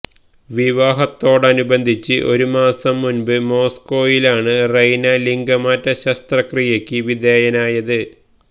വിവാഹത്തോടനുബന്ധിച്ച് ഒരു മാസം മുന്പ് മോസ്കോയിലാണ് റെയ്ന ലിംഗമാറ്റ ശസ്ത്രക്രിയയ്ക്ക് വിധേയനായത്